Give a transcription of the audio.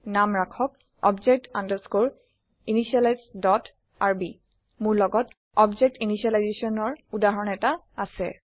নাম ৰাখক অবজেক্ট আনডেস্কৰে ইনিশিয়েলাইজ ডট আৰবি মোৰ লগত অবজেক্ট initializationৰ উদাহৰণ এটা আছে